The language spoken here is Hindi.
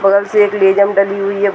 बगल से एक डली हुई है।